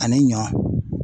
Ani ɲɔ